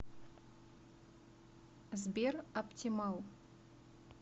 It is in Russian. сбер оптимал